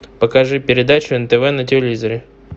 покажи передачу нтв на телевизоре